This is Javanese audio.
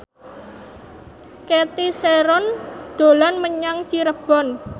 Cathy Sharon dolan menyang Cirebon